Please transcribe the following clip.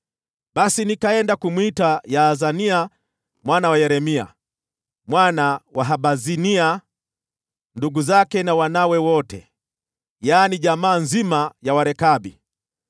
Basi nikaenda kumwita Yaazania mwana wa Yeremia, mwana wa Habazinia, na ndugu zake na wanawe wote, yaani jamaa nzima ya Warekabi.